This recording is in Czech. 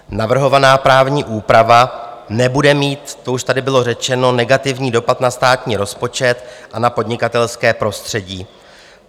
Navrhovaná právní úprava nebude mít, to už tady bylo řečeno, negativní dopad na státní rozpočet a na podnikatelské prostředí.